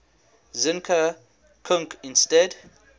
zinka kunc instead